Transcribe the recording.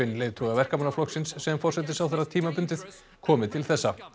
leiðtoga Verkamannaflokksins sem forsætisráðherra tímabundið komi til þessa